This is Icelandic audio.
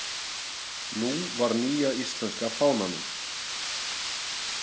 Nú var nýja íslenska fánanum.